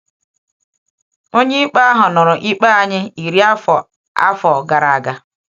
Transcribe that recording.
Onye ikpe ahụ nụrụ ikpe anyị iri afọ afọ gara aga!